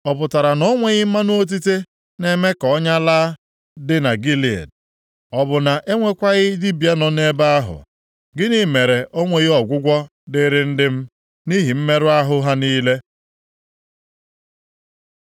Ọ pụtara na o nweghị mmanụ otite na-eme ka ọnya laa dị na Gilead? Ọ bụ na e nwekwaghị dibịa nọ nʼebe ahụ? Gịnị mere o nweghị ọgwụgwọ dịrị ndị m nʼihi mmerụ ahụ ha niile?